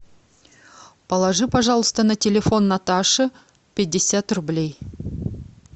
положи пожалуйста на телефон наташи пятьдесят рублей